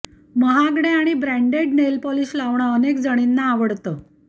महागड्या आणि branded nail polish लावणं अनेक जणींना आवडतं